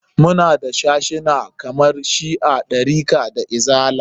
Muna da sashuna kamar shi'a, ɗarika da izala.